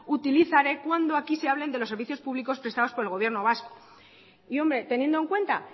utilizaré cuando aquí se hablen de los servicios públicos prestados por el gobierno vasco y hombre teniendo en cuenta